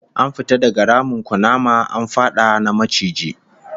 An fita daga ramin kunama, an fada na maciji